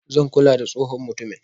zan kula da tsohon mutumin.